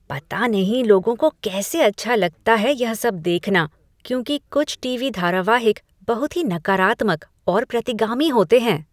पता नहीं लोगों को कैसे अच्छा लगता है यह सब देखना क्योंकि कुछ टीवी धारावाहिक बहुत ही नकारात्मक और प्रतिगामी होते हैं।